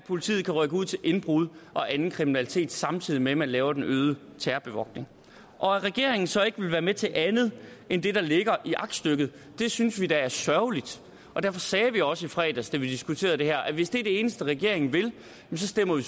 at politiet kan rykke ud til indbrud og anden kriminalitet samtidig med at man laver den øgede terrorbevogtning at regeringen så ikke være med til andet end det der ligger i aktstykket synes vi da er sørgeligt og derfor sagde vi også i fredags da vi diskuterede det her at hvis det eneste regeringen vil stemmer vi